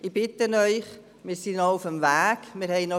Wir sind auf dem Weg, wir haben noch viel zu tun.